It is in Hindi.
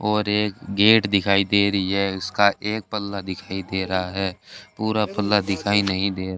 और एक गेट दिखाई दे रही है उसका एक पल्ला दिखाई दे रहा है पूरा पल्ला दिखाई नहीं दे --